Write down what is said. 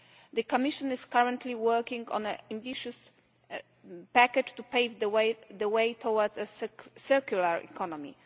The Commission is currently working on an ambitious package to pave the way towards a circular economy.